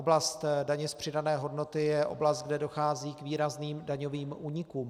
Oblast daně z přidané hodnoty je oblast, kde dochází k výrazným daňovým únikům.